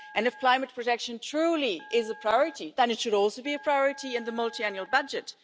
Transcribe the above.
And if climate protection truly is a priority, then it should also be a priority in the multiannual budget.